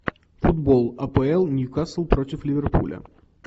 футбол апл ньюкасл против ливерпуля